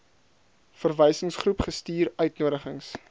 verwysingsgroep gestuur uitnodigings